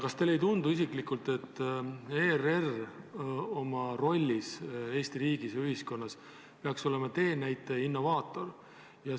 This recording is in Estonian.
Kas teile isiklikult ei tundu, et ERR oma rollis Eesti riigis ja ühiskonnas peaks olema teenäitaja ja innovaator?